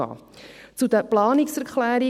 Zu den Planungserklärungen: